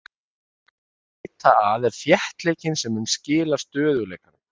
Það sem við erum að leita að er þéttleikinn sem mun skila stöðugleikanum.